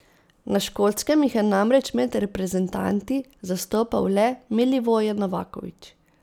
Na Škotskem jih je namreč med reprezentanti zastopal le Milivoje Novaković.